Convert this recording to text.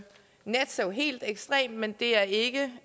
helt ekstremt men det er ikke